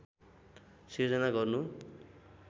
सृजना गर्नु